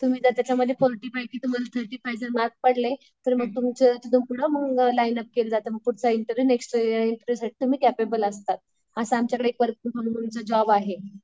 तुम्ही त्या त्याच्यामध्ये जर मार्क पडले तर मग तुमचे केलं जातं मग पुढचा इंटरव्हिव्ह नेक्स्ट तुम्ही केपेबल असतात. असं आमच्याकडे वर्क फ्रॉम होम चं जॉब आहे.